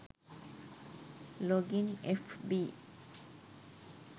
login fb